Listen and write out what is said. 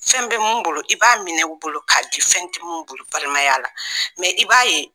Fɛn bɛ min bolo, i b'a minɛ o bolo k'a di fɛn tɛ min bolo balimaya la, mɛ i b'a ye